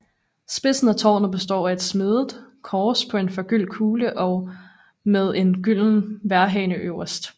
Spidsen af tårnet består af et smedet kors på en forgyldt kugle og med en gylden vejrhane øverst